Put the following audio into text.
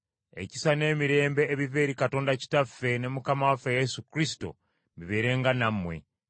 Ekisa n’emirembe ebiva eri Katonda Kitaffe ne Mukama waffe Yesu Kristo bibeerenga nammwe.